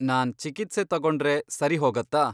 ನಾನ್ ಚಿಕಿತ್ಸೆ ತಗೊಂಡ್ರೆ ಸರಿ ಹೋಗತ್ತಾ?